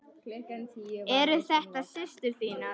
Eru þetta systur þínar?